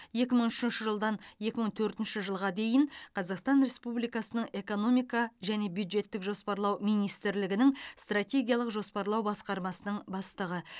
екі мың үшінші жылдан екі мың төртінші жылға дейін қазақстан республикасының экономика және бюджеттік жоспарлау министрлігінің стратегиялық жоспарлау басқармасының бастығы